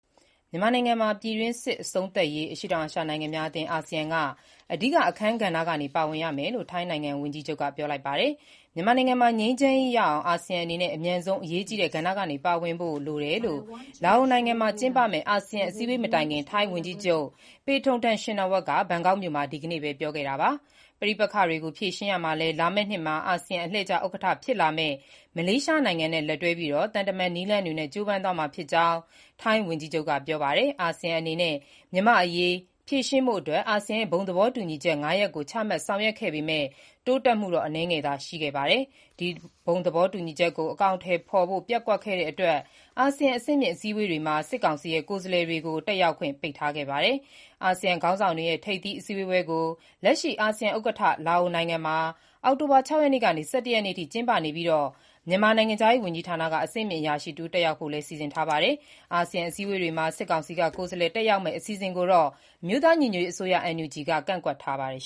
မြန်မာနိုင်ငံမှာ ပြည်တွင်းစစ် အဆုံးသတ်ရေး အရှေ့တောင်အာရှ နိုင်ငံများအသင်း (အာဆီယံ) က အဓိကအခန်းကဏ္ဍကနေ ပါဝင်ရမယ်လို့ ထိုင်းဝန်ကြီးချုပ်က ပြောလိုက်ပါတယ်။ မြန်မာနိုင်ငံမှာ ငြိမ်းချမ်းရေးရအောင် အာဆီယံအနေနဲ့ အမြန်ဆုံး အရေးကြီးတဲ့ ကဏ္ဍကနေ ပါဝင်ဖို့ လိုတယ်လို့ လာအိုနိုင်ငံမှာ ကျင်းပမယ့် အာဆီယံ အစည်းအဝေးမတိုင်ခင် ဘန်ကောက်မြို့မှာ ထိုင်းဝန်ကြီးချုပ် Paetongtarn Shinawatra က ဒီကနေ့ပဲ ပြောခဲ့တာပါ။ ပဋိပက္ခတွေကို ဖြေရှင်းရာမှာလည်း လာမယ့်နှစ်မှာ အာဆီယံ အလှည့်ကျ ဥက္ကဋ္ဌဖြစ်လာမယ့် မလေးရှားနိုင်ငံနဲ့ လက်တွဲပြီး သံတမန်နည်းလမ်းတွေနဲ့ ကြိုးပမ်းသွားမှာဖြစ်ကြောင်း ထိုင်းဝန်ကြီးချုပ် ကပြောပါတယ်။ အာဆီယံအနေနဲ့ မြန်မာ့အရေးဖြေရှင်းဖို့အတွက် အာဆီယံရဲ့ ဘုံသဘောတူညီချက် ၅ ရပ်ကို ချမှတ်ဆောင်ရွက်ခဲ့ပေမဲ့ တိုးတက်မှုတော့ အနည်းငယ်သာ ရှိခဲ့တာပါ။ ဒီဘုံသဘောတူညီချက်ကို အကောင်အထည်ဖော်ဖို့ ပျက်ကွက်တဲ့အတွက် အာဆီယံ အဆင့်မြင့် အစည်းအဝေးပွဲတွေမှာ စစ်ကောင်စီရဲ့ ကိုယ်စားလှယ် တွေကို တက်ရောက်ခွင့်ပိတ်ပင်ထားခဲ့ပါတယ်။ အာဆီယံခေါင်းဆောင်တွေရဲ့ ထိပ်သီးဆွေးနွေးပွဲကို လက်ရှိ အာဆီယံဥက္ကဋ္ဌ လာအိုနိုင်ငံမှာ အောက်တိုဘာ ၆ ရက်ကနေ ၁၁ ရက်အထိ ကျင်းပနေပြီး မြန်မာ နိုင်ငံခြားရေး ဝန်ကြီးဌာနက အဆင့်မြင့်အရာရှိတဦး တက်ရောက်ဖို့လည်း စီစဉ်ထားတာပါ။ အာဆီယံအစည်းအဝေးမှာ စစ်ကောင်စီက ကိုယ်စားလှယ် တက်ရောက်မယ့် အစီအစဉ်ကိုတော့ အမျိုးသား ညီညွတ်ရေးအစိုးရ NUG က ကန့်ကွက်ထားပါတယ်